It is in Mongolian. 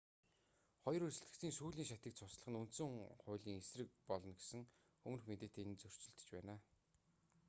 хоёр өрсөлдөгчийн сүүлийн шатыг цуцлах нь үндсэн хуулийн эсрэг болно гэсэн өмнөх мэдээтэй энэ нь зөрчилдөж байна